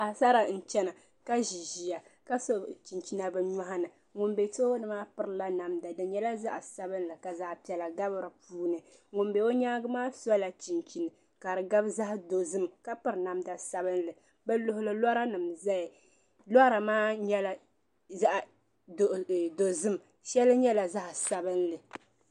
Paɣisara n chɛna ka zi ziya ka so chinchina bi yɔɣu ni ŋuni bɛ tooni maa piri la namda di nyɛla zaɣi sabinli ka zaɣi piɛlla gabi di ni ŋuni bɛ o yɛanga maa sola chinchini ka di gabi zaɣi dozim ka piri namda sabinli bi luɣili lɔra nima n zaya lɔra maa nyɛla zaɣi dozim shɛli nyɛla zaɣi sabinli.